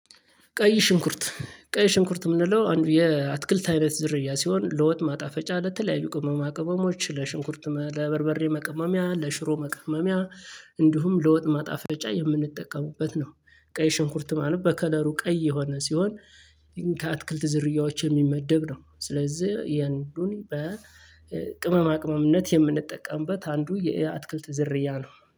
ቀይ ሽንኩርት ቀይ ሽንኩርት የምንለው አንድ የአትክልት አይነት ዝርያ ሲሆን ለወጥ ማጣፈጫ ለተለያዩ ቅመማ ቅመሞች ለሽንኩርትም ለበርበሬም መቀመሚያ ለሽሮ መቀመሚያ እንዲሁም ለወጥ ማጣፈጫ የምንጠቀምበት ነው። ቀይ ሽንኩርት ማለት በከለሩ ቀይ የሆነ ሲሆን። ከአትክልት ዝርያዎች የሚመደብ ነው ስለዚህ የአንዱን በቅመማ ቅመምነት የምንጠቀምበት አንዱ የእያ አትክልት ዝርያ ነው